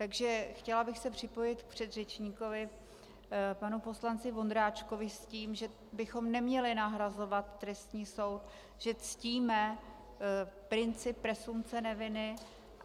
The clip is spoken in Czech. Takže chtěla bych se připojit k předřečníkovi panu poslanci Vondráčkovi s tím, že bychom neměli nahrazovat trestní soud, že ctíme princip presumpce neviny.